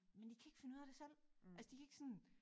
Men de kan ikke finde ud af det selv altså de kan ikke sådan